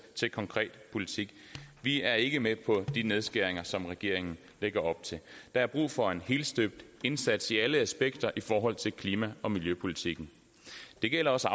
til konkret politik vi er ikke med på de nedskæringer som regeringen lægger op til der er brug for en helstøbt indsats i alle aspekter af klima og miljøpolitikken det gælder også